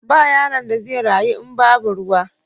Ba yaron da zai rayu in babu ruwa.